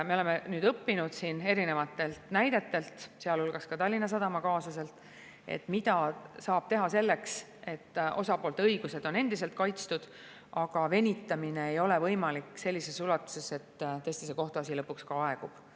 Me oleme nüüd õppinud erinevate näidete pealt, sealhulgas Tallinna Sadama kaasuse pealt, mida saab teha selleks, et osapoolte õigused on endiselt kaitstud, aga venitamine ei ole võimalik sellises ulatuses, et kohtuasi lõpuks aegub.